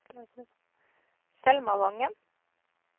Selma Wangen